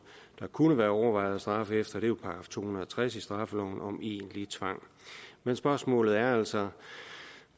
kunne være overvejet at straffe efter er § to hundrede og tres i straffeloven om egentlig tvang men spørgsmålet er altså